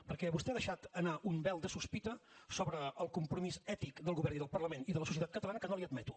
perquè vostè ha deixat anar un vel de sospita sobre el compromís ètic del govern i del parlament i de la societat catalana que no li admeto